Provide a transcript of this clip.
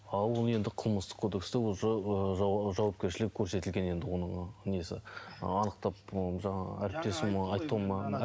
а ол енді қылмыстық кодексте өзі ы жауапкершілік көрсетілген енді оның несі анықтап ы жаңағы әріптесім